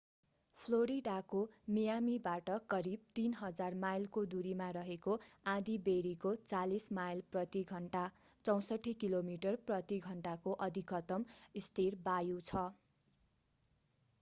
फ्लोरिडाको मियामीबाट करीब 3,000 माइलको दूरीमा रहेको आँधीबेहरीको 40 माइल प्रति घण्टा 64 किलोमिटर प्रति घण्टा को अधिकतम स्थिर वायु छ।